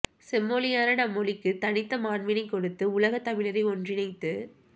செம்மொழியான நம் மொழிக்கு தனித்த மாண்பினை கொடுத்து உலக தமிழரை ஒன்றினைத்து